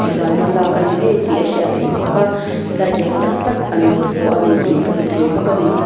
zana lâk a ni ngei tih a hriat theih bawk a light eng tak tak an vuah ani tih ka hmu thei bawk a ni.